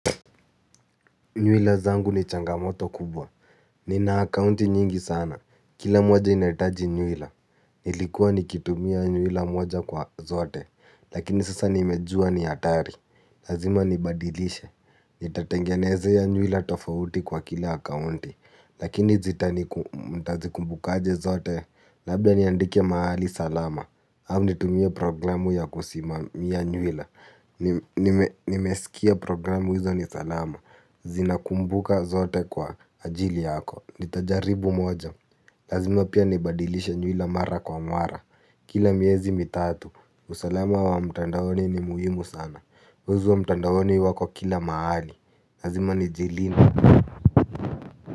Nywila zangu ni changamoto kubwa. Ni na akaunti nyingi sana. Kila moja inaitaji nywila. Nilikuwa nikitumia nywila moja kwa zote. Lakini sasa nimejua ni hatari. Lazima nibadilishe. Nitatengenezea nywila tofauti kwa kila akaunti. Lakini nitazikumbukaje zote? Labda niandike mahali salama. Au nitumie programu ya kusimamia nywila. Nimesikia programu hizo ni salama. Zinakumbuka zote kwa ajili yako. Nitajaribu moja. Lazima pia nibadilishe nywila mara kwa mara. Kila miezi mitatu usalama wa mtandaoni ni muhimu sana wezi wa mtandaoni wako kila mahali. Lazima nijilinde.